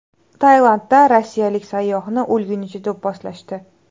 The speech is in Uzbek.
Tailandda rossiyalik sayyohni o‘lgunicha do‘pposlashdi.